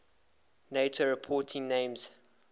nato reporting names